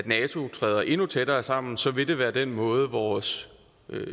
nato træder endnu tættere sammen så vil det være den måde vores